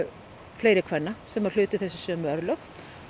fleiri kvenna sem hlutu þessi sömu örlög